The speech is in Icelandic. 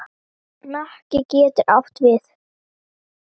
Hnakki getur átt við